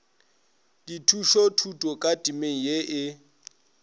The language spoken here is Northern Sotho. dithušothuto ka temeng ye e